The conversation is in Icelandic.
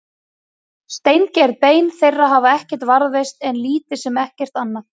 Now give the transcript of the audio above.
steingerð bein þeirra hafa varðveist en lítið sem ekkert annað